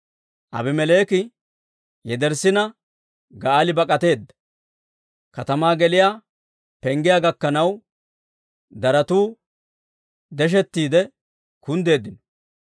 Aabimeleeki yederssina, Ga'aali bak'ateedda; katamaa geliyaa penggiyaa gakkanaw daratu deshettiide kunddeeddino.